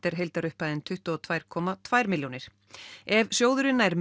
er heildarupphæðin tuttugu og tvö komma tvær milljónir ef sjóðurinn nær